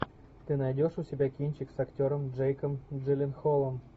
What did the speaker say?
ты найдешь у себя кинчик с актером джейком джилленхолом